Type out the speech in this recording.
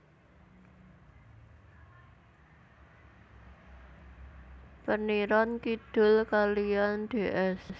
Peniron Kidul kaliyan Ds